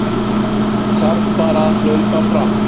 Þarf bara að hlaupa fram